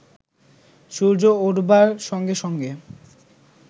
সূর্য উঠবার সঙ্গে সঙ্গে